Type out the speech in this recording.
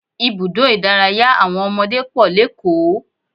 Ibùdó ìdárayá àwọn ọmọdé pọ̀ lékòó